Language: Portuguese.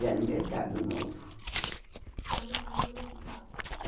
o mercado novo. Que é o Mercado Municipal? É